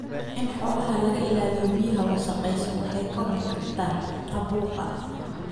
In xoolaha laga ilaaliyo biyaha wasakhaysan waxay ka hortagtaa caabuqa.